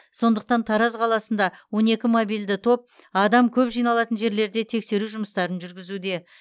сондықтан тараз қаласында он екі мобильді топ адам көп жиналатын жерлерде тексеру жұмыстарын жүргізуде